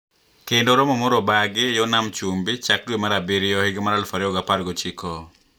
Kendo romo moro obagi yo nam chumbi chak dwe mar abiriyo higa mar aluf ariyo ga apar gochiko